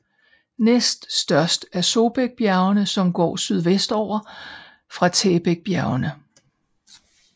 Næst størst er Sobaekbjergene som går sydvestover fra Taebaekbjergene